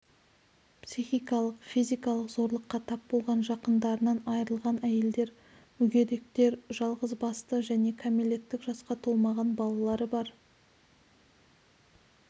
психикалық-физикалық зорлыққа тап болған жақындарынан айрылған әйелдер мүгедектер жалғыз басты және кәмелеттік жасқа толмаған балалары бар